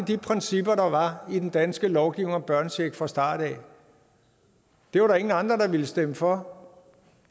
de principper der var i den danske lovgivning om børnechecken fra starten af det var der ingen andre der ville stemme for